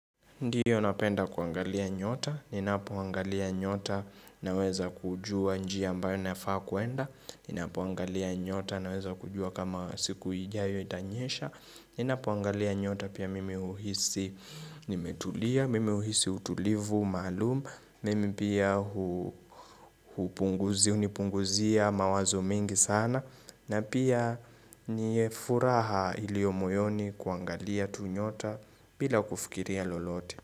Ndiyo napenda kuangalia nyota, ninapoangalia nyota naweza kujua njia ambayo nafaa kuenda, ninapoangalia nyota naweza kujua kama siku ijayo itanyesha, ninapoangalia nyota pia mimi uhisi nimetulia, mimi uhisi utulivu, maalum, mimi pia hupunguzi, hunipunguzia mawazo mengi sana, na pia niye furaha iliyo moyoni kuangalia tunyota bila kufikiria lolote.